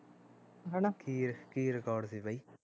ਕੀ ਕੀ record ਸੀ ਬਾਈ